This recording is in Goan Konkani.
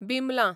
बिमलां